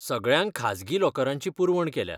सगळ्यांक खाजगी लॉकरांची पुरवण केल्या.